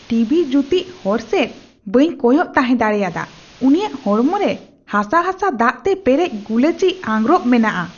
TV ᱡᱩᱛᱤᱡ ᱦᱚᱲ ᱥᱮᱡ ᱵᱟᱹᱧ ᱠᱚᱭᱚᱜ ᱛᱟᱦᱮᱸ ᱫᱟᱲᱮᱭᱟᱫᱟ ᱾ ᱩᱱᱤᱭᱟᱜ ᱦᱚᱲᱢᱚ ᱨᱮ ᱦᱟᱥᱟ ᱦᱟᱥᱟ ᱫᱟᱜᱛᱮ ᱯᱮᱨᱮᱡ ᱜᱩᱞᱟᱹᱪᱤ ᱟᱸᱜᱨᱚᱯ ᱢᱮᱱᱟᱜᱼᱟ ᱾